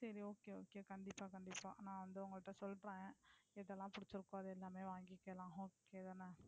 சரி Okay Okay கண்டிப்பா கண்டிப்பா. நான் வந்து உங்க கிட்ட சொல்றேன் எது எல்லாம் புடிச்சிருகோ அது எல்லாமே வாங்கிக்கலாம் Okay தானே.